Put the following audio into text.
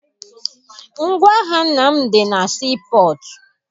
Ngwaahịa nna m dị na sii pọtụ.